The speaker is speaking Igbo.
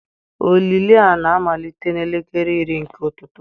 Olili a na-amalite n'elekere iri nke ụtụtụ